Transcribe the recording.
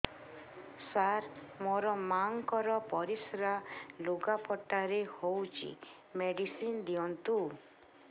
ସାର ମୋର ମାଆଙ୍କର ପରିସ୍ରା ଲୁଗାପଟା ରେ ହଉଚି ମେଡିସିନ ଦିଅନ୍ତୁ